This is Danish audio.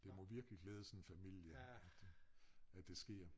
Det må virkelig glæde sådan en familie at at det sker